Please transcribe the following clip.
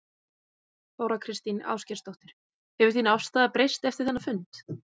Þóra Kristín Ásgeirsdóttir: Hefur þín afstaða breyst eftir þennan fund?